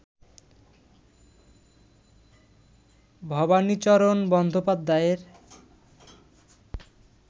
ভবানীচরণ বন্দ্যোপাধ্যায়ের